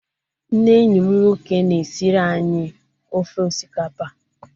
Nne enyi m nwoke na-esiri anyị ofe osikapa.